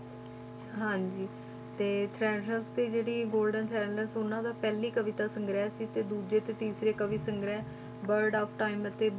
ਹਾਂਜੀ ਤੇ ਤੇ ਜਿਹੜੀ golden ਥਰੈਸਲੈਂਡ ਉਹਨਾਂ ਦਾ ਪਹਿਲੀ ਕਵਿਤਾ ਸੰਗ੍ਰਹਿ ਸੀ ਤੇ ਦੂਜੇ ਤੇ ਤੀਸਰੇ ਕਵੀ ਸੰਗ੍ਰਹਿ word of time ਅਤੇ